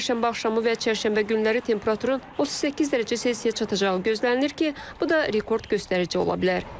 Çərşənbə axşamı və Çərşənbə günləri temperaturun 38 dərəcə Selsiyə çatacağı gözlənilir ki, bu da rekord göstərici ola bilər.